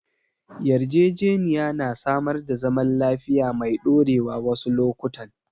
Yarjejeniya na samar da zaman lafiya mai ɗorewa wasu lokutan.